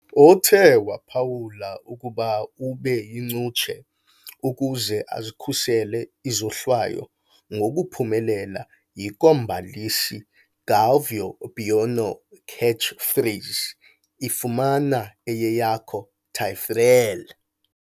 Uthe waphawula ukuba ube yincutshe ukuze azikhusele izohlwayo, ngokuphumelela yi kombalisi Galvão Bueno catchphrase, i "Fumana na eyeyakho, Taffarel!"